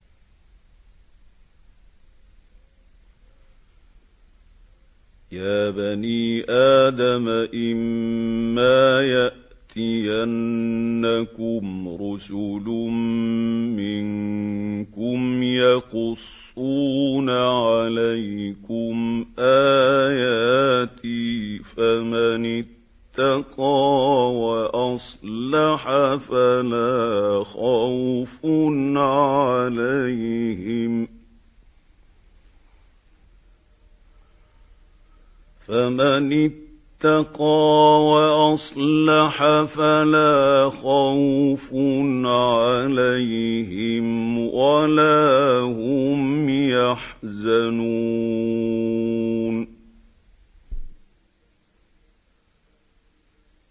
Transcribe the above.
يَا بَنِي آدَمَ إِمَّا يَأْتِيَنَّكُمْ رُسُلٌ مِّنكُمْ يَقُصُّونَ عَلَيْكُمْ آيَاتِي ۙ فَمَنِ اتَّقَىٰ وَأَصْلَحَ فَلَا خَوْفٌ عَلَيْهِمْ وَلَا هُمْ يَحْزَنُونَ